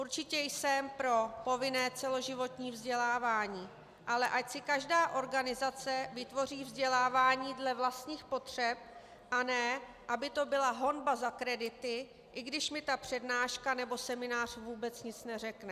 Určitě jsem pro povinné celoživotní vzdělávání, ale ať si každá organizace vytvoří vzdělávání dle vlastních potřeb, a ne aby to byla honba za kredity, i když mi ta přednáška nebo seminář vůbec nic neřekne.